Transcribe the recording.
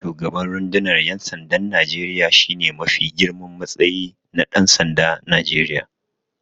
Shugaban rundunar ƴansandan Najeriya shine mafi girman matsayi na Ɗansandan Najeriya.